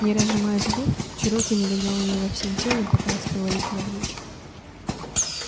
не разжимая зубов чероки налегал на него всем телом пытаясь повалить навзничь